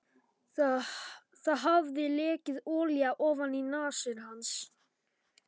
Það hafði lekið olía ofaní nasir hans.